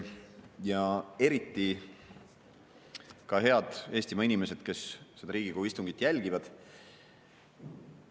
Ja eriti ka head Eestimaa inimesed, kes seda Riigikogu istungit jälgivad!